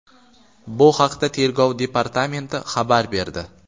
Bu haqda Tergov departamenti xabar berdi.